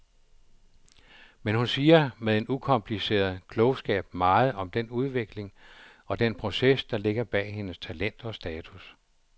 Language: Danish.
Men hun siger med en ukompliceret klogskab meget om den udvikling og den proces, der ligger bag hendes talent og status.